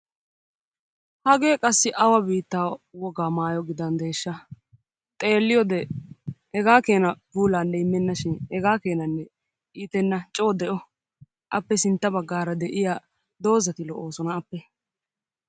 Hagee qassi awa biittaa wogaa maayo gidandesha? Xeeliyode hegaa kenna puulanne immena shin hegaa keenanne ittena coo de'o. Appe sintta baggaara de'iyaa doozati lo'oosona appee.